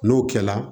N'o kɛla